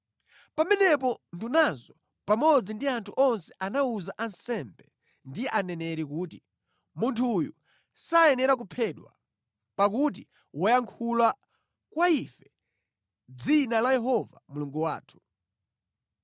Pamenepo ndunazo pamodzi ndi anthu onse anawuza ansembe ndi aneneri kuti, “Munthu uyu sayenera kuphedwa! Pakuti wayankhula kwa ife mʼdzina la Yehova Mulungu wathu.”